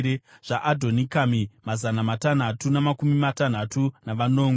zvaAdhonikami, mazana matanhatu namakumi matanhatu navanomwe;